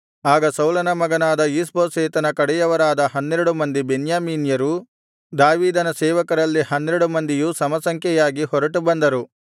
ಆಗ ಸೌಲನ ಮಗನಾದ ಈಷ್ಬೋಶೆತನ ಕಡೆಯವರಾದ ಹನ್ನೆರಡು ಮಂದಿ ಬೆನ್ಯಾಮೀನ್ಯರು ದಾವೀದನ ಸೇವಕರಲ್ಲಿ ಹನ್ನೆರಡು ಮಂದಿಯೂ ಸಮಸಂಖ್ಯೆಯಾಗಿ ಹೊರಟು ಬಂದರು